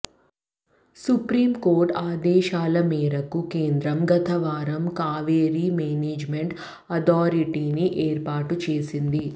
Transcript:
supreme court ఆదేశాల మేరకు కేంద్రం గతవారం కావేరీ మేనేజ్మెంట్ అథారిటీని ఏర్పాటు చేసింది